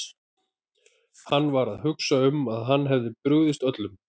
Hann var að hugsa um að hann hefði brugðist öllum.